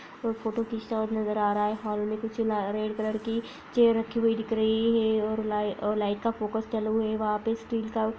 और फोटो खींचता हुआ नजर आ रहा है हॉल मे कुछ रेड कलर की चेयर रखी हुई दिख रही है और लाइ और लाइट का फोकस चालू है वहां पे स्टील का --